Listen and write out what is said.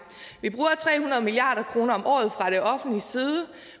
vi bruger tre hundrede milliard kroner om året fra det offentliges side